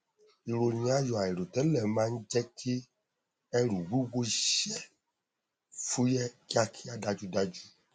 ìròyìn ayọ àìrò tẹlẹ maá n jẹ kí ẹrù wúwo iṣẹ fúyẹ kíakíá dájúdájú